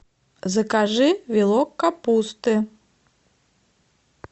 закажи вилок капусты